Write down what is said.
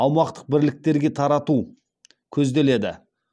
аумақтық бірліктерге тарату көзделеді